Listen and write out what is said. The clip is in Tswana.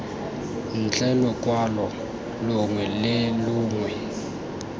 ntle lokwalo longwe le longwe